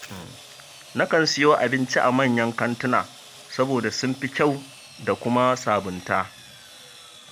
Nakan siyo kayan abinci a manyan kantuna, saboda sun fi kyau da kuma sabunta